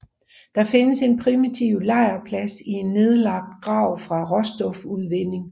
Der findes en primitiv lejrplads i en nedlagt grav fra råstofudvinding